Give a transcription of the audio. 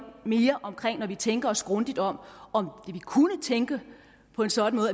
når vi tænker os grundigt om kunne tænke på en sådan